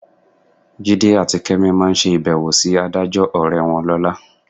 Jídé àti Kẹ́mi máa ṣe ìbẹ̀wò sí adájọ́ ọ̀rẹ́ wọn lọ́la.